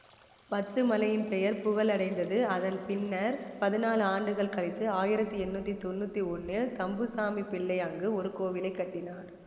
பத்துமலையின் பெயர் புகழடைந்ததுஅதன் பின்னர் பதினாலு ஆண்டுகள் கழித்து ஆயிரத்தி எண்ணூற்றி தொன்னூற்தி ஒன்னில் தம்புசாமிப் பிள்ளை அங்கு ஒரு கோயிலை கட்டினார்